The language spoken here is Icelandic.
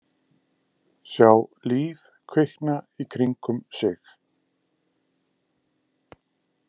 Sjá líf kvikna í kringum sig.